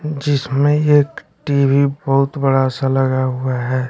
जिसमें एक टी_वी बहुत बड़ा सा लगा हुआ है।